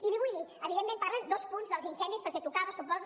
i li vull dir evidentment parlen dos punts dels incendis perquè tocava suposo